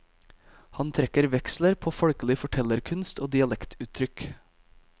Han trekker veksler på folkelig fortellerkunst og dialektuttrykk.